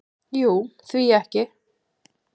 """Jú, því ekki?"""